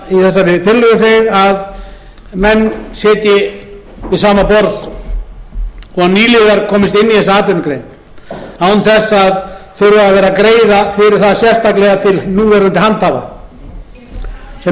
sagt í þessari tillögu að menn sitji við sama borð og að nýliðar komist inn í þessa atvinnugrein án þess að þurfa að vera að greiða fyrir það sérstaklega til núverandi handhafa sem með